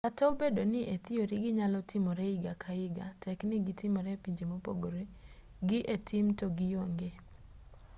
kata obedo ni e thiori ginyalo timore higa ka higa tek ni gitimore e pinje mopogore gi e tim to gionge